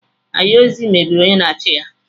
Ayozi mebiri onye na-achị ya.